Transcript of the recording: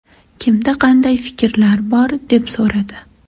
Kimda qanday fikrlar bor?”, deb so‘radi.